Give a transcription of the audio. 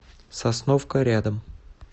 сосновка рядом